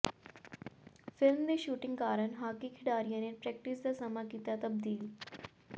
film ਦੀ shooting ਕਾਰਨ hockey ਖਿਡਾਰੀਆਂ ਨੇ ਪ੍ਰੈਕਟਿਸ ਦਾ ਸਮਾਂ ਕੀਤਾ ਤਬਦੀਲ